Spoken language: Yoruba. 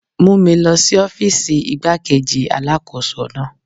Mú mi lọ sí ọ́fíìsì igbá-kejì Alákóso náà.